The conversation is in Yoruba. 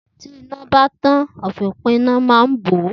Tí iná bá tàn, àfòpíná ma ń bò ó.